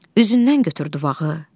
Üzündən götür duvağı.